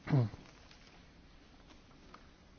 Herr Präsident, liebe Kolleginnen und Kollegen!